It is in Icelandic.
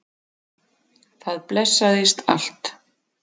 Það blessaðist allt.